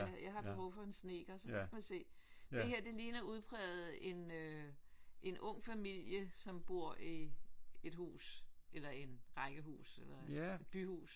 Jeg har behov for en snedker så der kan man se det her det ligner udpræget en en ung familie som bor i et hus eller en rækkehus eller et byhus med den cykel